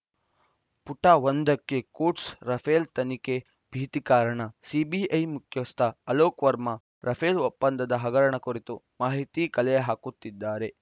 ಪುಟ ಒಂದಕ್ಕೆ quotes Rafale ತನಿಖೆ ಭೀತಿ ಕಾರಣ ಸಿಬಿಐ ಮುಖ್ಯಸ್ಥ ಅಲೋಕ್‌ ವರ್ಮಾ ರಫೇಲ್‌ ಒಪ್ಪಂದದ ಹಗರಣ ಕುರಿತು ಮಾಹಿತಿ ಕಲೆ ಹಾಕುತ್ತಿದ್ದಾರೆ